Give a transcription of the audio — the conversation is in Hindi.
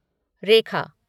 रेखा